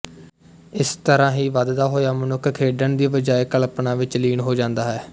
ਇਸ ਤਰ੍ਹਾਂ ਹੀ ਵਧਦਾ ਹੋਇਆ ਮਨੁੱਖ ਖੇਡਣ ਦੀ ਬਜਾਏ ਕਲਪਨਾ ਵਿੱਚ ਲੀਨ ਹੋ ਜਾਂਦਾ ਹੈ